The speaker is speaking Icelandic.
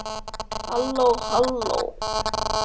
HALLÓ, HALLÓ.